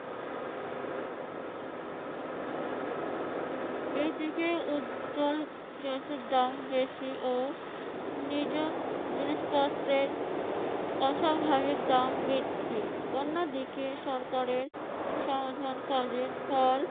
এইদিকে উজ্জ্বল গ্যাসের দাম বেশি ও নিত্য জিনিসপত্রের অস্বাভাবিক দাম বৃদ্ধি। অন্যদিকে সরকারের সমাধান কাজের ফল